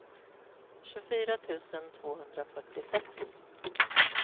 tjugofyra tusen tvåhundrafyrtiosex